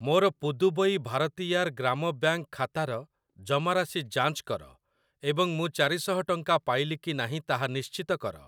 ମୋର ପୁଦୁବୈ ଭାରତିୟାର ଗ୍ରାମ ବ୍ୟାଙ୍କ୍‌ ଖାତାର ଜମାରାଶି ଯାଞ୍ଚ କର ଏବଂ ମୁଁ ଚାରିଶହ ଟଙ୍କା ପାଇଲି କି ନାହିଁ ତାହା ନିଶ୍ଚିତ କର ।